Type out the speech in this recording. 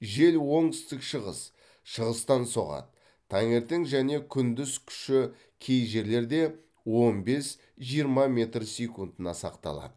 жел оңтүстік шығыс шығыстан соғады таңертең және күндіз күші кей жерлерде он бес жиырма метр секундына сақталады